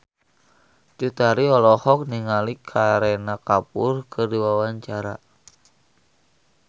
Cut Tari olohok ningali Kareena Kapoor keur diwawancara